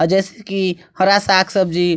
अ जैसे की हरा साग सब्जी--